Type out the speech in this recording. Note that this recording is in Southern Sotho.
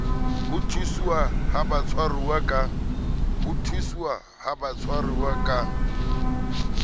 ho ntshuwa ha batshwaruwa ka